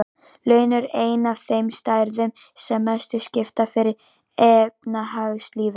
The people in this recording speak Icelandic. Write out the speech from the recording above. Laun eru ein af þeim stærðum sem mestu skipta fyrir efnahagslífið.